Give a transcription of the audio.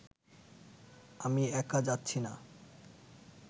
আমি একা যাচ্ছি না